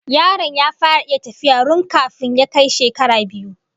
Yaron ya fara iya tafiya run kafin ya kai shekara biyu